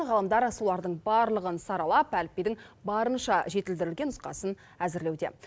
ғалымдар солардың барлығын саралап әліпбидің барынша жетілдірілген нұсқасын әзірлеуде